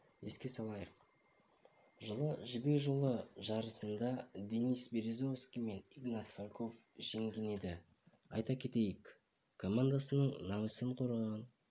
еске салайық жылы жібек жолы жарысындаденис березовский мен игнат фальков жеңген еді айта кетейік командасының намысын